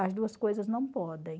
As duas coisas não podem.